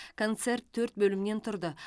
концерт төрт бөлімнен тұрды